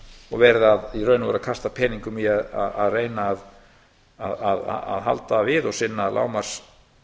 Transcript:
og verið í raun og veru að kasta peningum í að reyna að halda við og sinna lágmarks